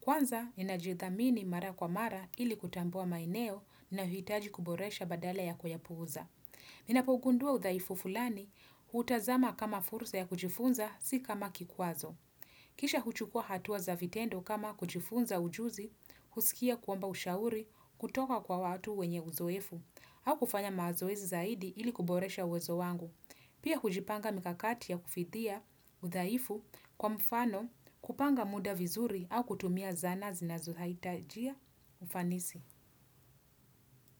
Kwanza, ninajithamini mara kwa mara ili kutambua maeneo nina hitaji kuboresha badala ya kuyapuuza. Ninapogundua udhaifu fulani, hutazama kama fursa ya kujifunza, si kama kikwazo. Kisha huchukua hatua za vitendo kama kujifunza ujuzi, husikia kuomba ushauri, kutoka kwa watu wenye uzoefu, au kufanya mazoezi zaidi ili kuboresha uwezo wangu. Pia hujipanga mikakati ya kufidia udhaifu kwa mfano kupanga muda vizuri au kutumia zana zinazohaitajia ufanisi.